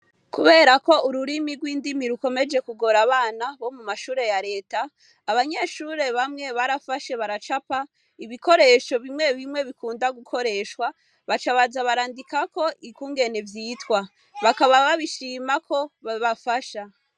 Kuberako ururimi rw'indimi rukomeje kugora abana mu mashure ya reta ,abanyeshure bamwe barafashe baracapa ibikoresho bikunda gukoreshwa ,baca baja barandikako ukungene vyitwa, bakaba babishima ko bibagasha.